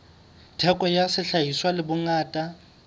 theko ya sehlahiswa le bongata